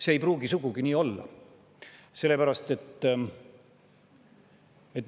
See ei pruugi sugugi nii olla.